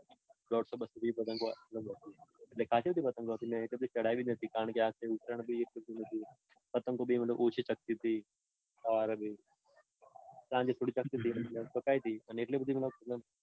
પતંગો આપી તી. એટલે ખાંસી બધી પતંગો આપી મેં એક બી ચઢાવી નતી કારણકે આ વખતે ઉત્તરાયણ બી એટલું નતું. પતંગો બી મતલબ ઓછી ચગતી તી. સાંજે થોડી ચગતી તી તો મેં ચઢાવી તી. અને એટલી બધી